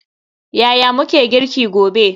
Yaya muke girki gobe?